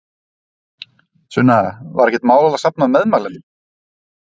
Sunna: Var ekkert mál að safna meðmælendum?